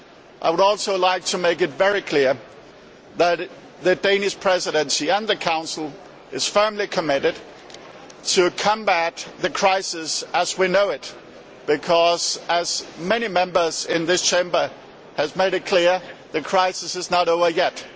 I would also like to make it very clear that the Danish Presidency, and the Council, are firmly committed to combating the crisis as we know it because, as many Members in this Chamber have made clear, the crisis is not over yet.